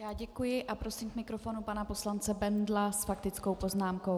Já děkuji a prosím k mikrofonu pana poslance Bendla s faktickou poznámkou.